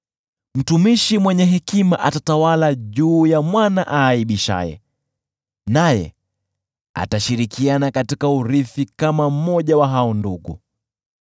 Mtumishi mwenye hekima atatawala juu ya mwana aaibishaye, naye atashirikiana katika urithi kama mmoja wa hao ndugu.